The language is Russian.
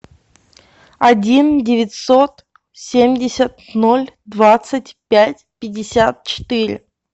один девятьсот семьдесят ноль двадцать пять пятьдесят четыре